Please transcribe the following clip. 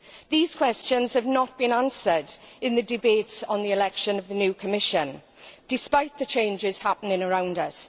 These questions have not been answered in the debates on the election of the new Commission, despite the changes happening around us.